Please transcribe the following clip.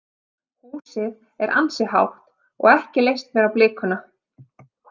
Húsið er ansi hátt og ekki leist mér á blikuna.